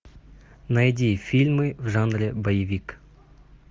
найди фильмы в жанре боевик